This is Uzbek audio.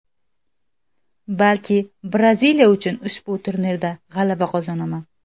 Balki Braziliya uchun ushbu turnirda g‘alaba qozonaman.